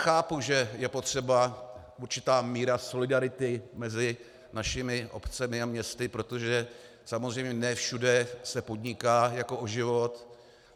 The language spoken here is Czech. Chápu, že je potřeba určitá míra solidarity mezi našimi obcemi a městy, protože samozřejmě ne všude se podniká jako o život.